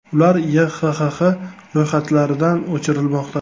Ular YHXX ro‘yxatlaridan o‘chirilmoqda.